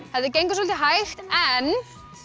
gengur svolítið hægt en en